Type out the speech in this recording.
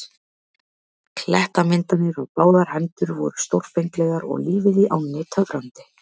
Klettamyndanir á báðar hendur voru stórfenglegar og lífið í ánni töfrandi.